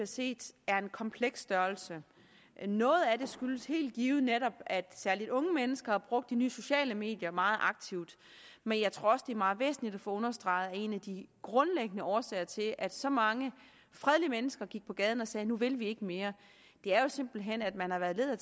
set er en kompleks størrelse noget af det skyldes helt givet netop at særligt unge mennesker har brugt de nye sociale medier meget aktivt men jeg tror også at det er meget væsentligt at få understreget at en af de grundlæggende årsager til at så mange fredelige mennesker gik på gaden og sagde at nu vil de ikke mere simpelt hen er at man har været led